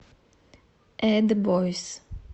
эд бойз